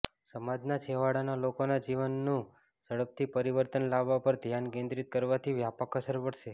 સમાજના છેવાડાના લોકોના જીવનનું ઝડપથી પરિવર્તન લાવવા પર ધ્યાન કેન્દ્રીત કરવાથી વ્યાપક અસર પડશે